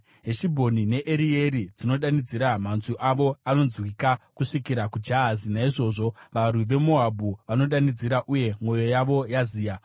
Heshibhoni neErieri dzinodanidzira, manzwi avo anonzwika kusvikira kuJahazi. Naizvozvo varwi veMoabhu vanodanidzira, uye mwoyo yavo yaziya.